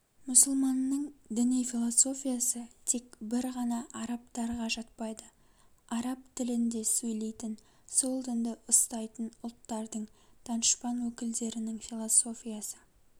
мұсылманның діни философиясы тек бір ғана арабтарға жатпайды араб тілінде сөйлейтін сол дінді ұстайтын ұлттардың данышпан өкілдерінің философиясы